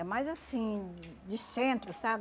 É mais assim, de centro, sabe?